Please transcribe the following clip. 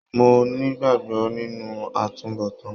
Mo n'igbagbọ nínú àtúnbọ̀tán.